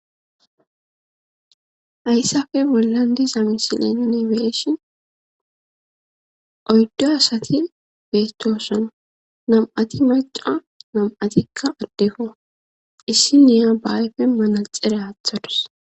ayssafe bollan di zamisileninebeeshin oyddo asati beettoson nam7ati maca nam7atikka addefo issi niya baayfe manalxere aathadus